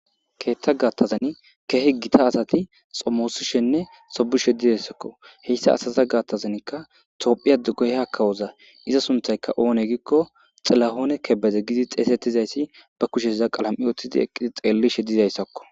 Keetta gattazan kehe gita asati xommoosishenne sobushedidessakko heyssa asaza gaattazanikka toophiya dugoyha kawoza iza sunthayka oone giikko xilahoone kebeze gidi xeesettizayssi ba kushe za qalam'i oothtidi eqqidi xeellishe dizayssakko.